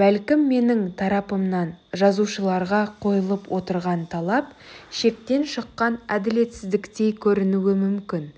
бәлкім менің тарапымнан жазушыларға қойылып отырған талап шектен шыққан әділетсіздіктей көрінуі мүмкін